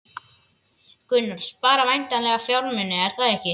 Gunnar: Spara væntanlega fjármuni, er það ekki?